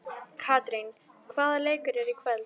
Katrín, hvaða leikir eru í kvöld?